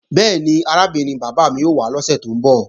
Bẹ́ẹ̀ni, arábìnrin bàbá mi ó wá lọ́sè tó ń bọ̀